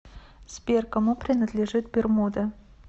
сбер кому принадлежит бермуды